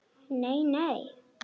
Nei nei.